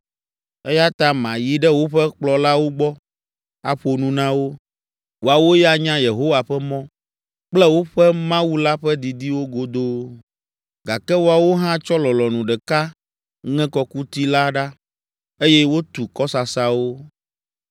Eya ta mayi ɖe woƒe kplɔlawo gbɔ, aƒo nu na wo; woawo ya nya Yehowa ƒe mɔ kple woƒe Mawu la ƒe didiwo godoo.” Gake woawo hã tsɔ lɔlɔ̃nu ɖeka ŋe kɔkuti la ɖa eye wotu kɔsasawo.